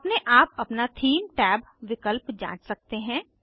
आप अपने आप अपना थीम टैब विकल्प जाँच सकते हैं